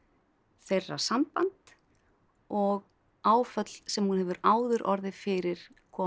þeirra samband og áföll sem hún hefur áður orðið fyrir koma